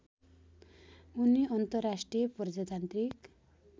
उनी अन्तर्राष्ट्रिय प्रजातान्त्रिक